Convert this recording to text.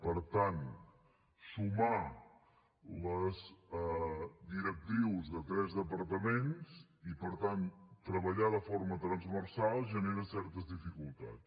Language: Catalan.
per tant sumar les directrius de tres departaments i per tant treballar de forma transversal genera certes dificultats